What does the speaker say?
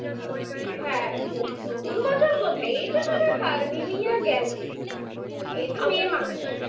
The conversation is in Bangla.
হ্যাঁ নতুন বছর কোথায়? এই তো সবে new year গেল এইতো May মাস